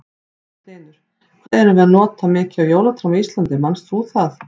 Magnús Hlynur: Hvað erum við að nota mikið af jólatrjám á Íslandi, manst þú það?